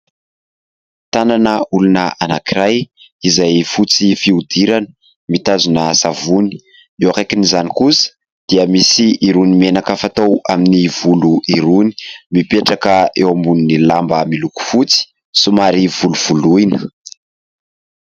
Tànana olona anankiray izay fotsy fiodirana, mitazona savony. Eo akaikin'izany kosa dia misy irony menaka fatao amin'ny volo irony. Mipetraka eo ambonin'ny lamba miloko fotsy somary volovoloina.